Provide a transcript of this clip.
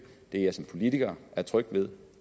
jeg som politiker er tryg ved